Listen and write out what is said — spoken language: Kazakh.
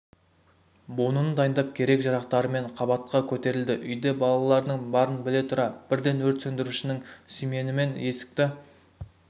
буынын дайындап керек-жарақтарымен қабатқа көтерілді үйде балалардың барын біле тұра бірден өрт сөндірушінің сүйменімен есікті